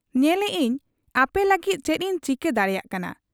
ᱧᱮᱞᱮᱜ ᱟᱹᱧ ᱟᱯᱮᱞᱟᱹᱜᱤᱫ ᱪᱮᱫ ᱤᱧ ᱪᱤᱠᱟᱹ ᱫᱟᱲᱮᱭᱟᱜ ᱠᱟᱱᱟ ᱾